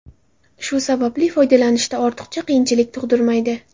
Shu sababli, foydalanishda ortiqcha qiyinchilik tug‘dirmaydi.